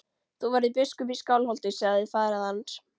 Þú verður biskup í Skálholti, sagði faðir hans.